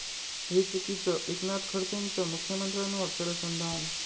हे चुकीचं, एकनाथ खडसेंचं मुख्यमंत्र्यांवर शरसंधान